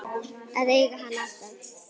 Að eiga hann alltaf.